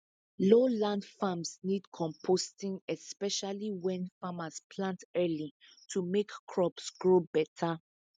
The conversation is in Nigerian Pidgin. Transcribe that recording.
low land farms need composting especially when farmers plant early to make crops grow better